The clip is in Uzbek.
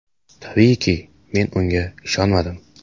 Tabiiyki, men unga ishonmadim.